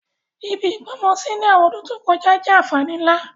Ibi ìgbọ́mọsí ni àwọn ọdún to kojá jẹ́ ànfàní nlá.